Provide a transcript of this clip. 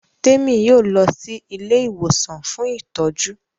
Temi yóò lọ sì Ilé ìwòsàn fún ìtọjú.